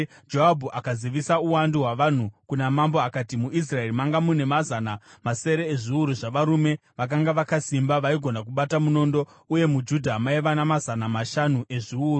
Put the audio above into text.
Joabhu akazivisa uwandu hwavanhu kuna mambo akati: MuIsraeri makanga mune mazana masere ezviuru zvavarume vakanga vakasimba, vaigona kubata munondo, uye muJudha maiva namazana mashanu ezviuru.